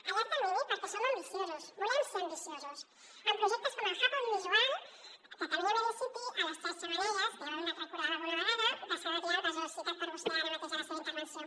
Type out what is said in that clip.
a llarg termini perquè som ambiciosos volem ser ambiciosos amb projectes com el hub audiovisual catalunya media city a les tres xemeneies que ja ho hem anat recordant alguna vegada de sant adrià de besòs citat per vostè ara mateix en la seva intervenció